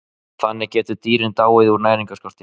Þannig geta dýrin dáið úr næringarskorti.